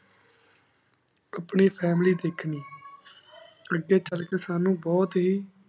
ਆਪਣੀ family ਧ੍ਖਣੀ ਅਘੀ ਚਲ ਕੀ ਸਾਨੂ ਬੁਹਤ ਹੀ